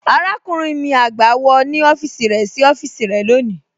Àràkúnrìn mi àgbá, wọ́ ní ọfisì rẹ sí ọfisì rẹ lọ́ní.